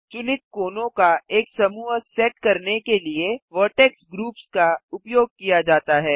चुनित कोनों का एक समूह सेट करने के लिए वर्टेक्स ग्रुप्स का उपयोग किया जाता है